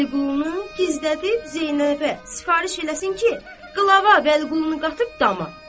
Vəliqulunu gizlədib Zeynəbə sifariş eləsin ki, qılava Vəliqulunu qatıb dama.